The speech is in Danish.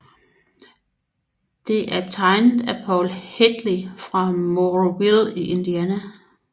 Det er tegnet af Paul Hadley fra Mooresville i Indiana